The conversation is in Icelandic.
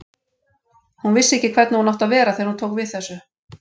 Hún vissi ekki hvernig hún átti að vera þegar hún tók við þessu.